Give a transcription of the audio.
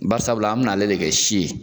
Barisabula an min'ale de kɛ si ye.